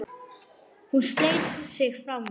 Hún sleit sig frá mér.